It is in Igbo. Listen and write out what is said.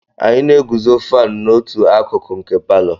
Anyị na-eguzo fánu n'otu akụkụ nke palọ